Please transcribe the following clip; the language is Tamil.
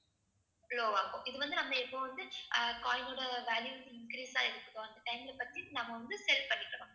low ஆகும். இது வந்து நம்ம இப்ப வந்து அஹ் coin ஓட value increase ஆயிருக்குதோ அந்த time ல பத்தி நம்ம வந்து sell பண்ணிக்கணும்